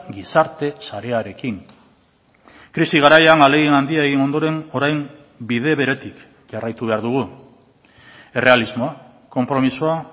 gizarte sarearekin krisi garaian ahalegin handia egin ondoren orain bide beretik jarraitu behar dugu errealismoa konpromisoa